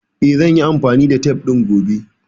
Eh, zan yi amfani da tef ɗin gobe